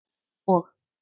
og